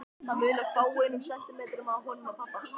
Það munar fáeinum sentimetrum á honum og pabba.